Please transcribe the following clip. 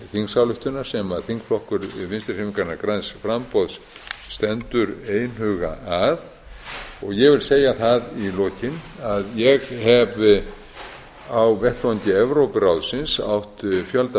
þingsályktunar sem þingflokkur vinstri hreyfingarinnar græns framboðs stendur einhuga að ég vil segja það í lokin að ég hef vettvang evrópuráðsins átt fjölda